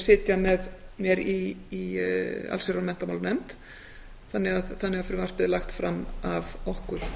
sitja með mér í allsherjar og menntamálanefnd þannig að frumvarpið er lagt fram af okkur